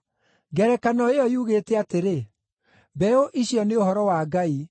“Ngerekano ĩyo yugĩte atĩrĩ: Mbeũ icio nĩ ũhoro wa Ngai.